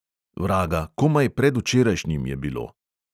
Vraga, komaj predvčerajšnjim je bilo.